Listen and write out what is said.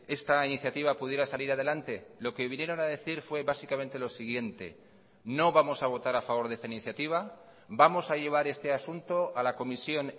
esta iniciativa pudiera salir adelante lo que vinieron a decir fue básicamente lo siguiente no vamos a votar a favor de esta iniciativa vamos a llevar este asunto a la comisión